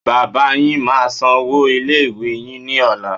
Bàbáa yín máa sanwó ilé ìwé yín ní ọ̀la.